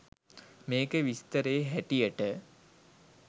මේකෙ විස්තරේ හැටියට